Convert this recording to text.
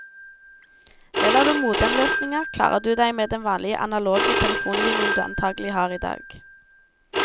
Velger du modemløsningen, klarer du deg med den vanlige analoge telefonlinjen du antagelig har i dag.